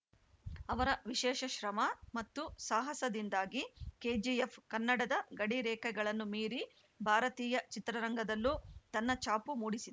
ಅವರ ವಿಶೇಷ ಶ್ರಮ ಮತ್ತು ಸಾಹಸದಿಂದಾಗಿ ಕೆಜಿಎಫ್‌ ಕನ್ನಡದ ಗಡಿರೇಖೆಗಳನ್ನು ಮೀರಿ ಭಾರತೀಯ ಚಿತ್ರರಂಗದಲ್ಲೂ ತನ್ನ ಛಾಪು ಮೂಡಿಸಿ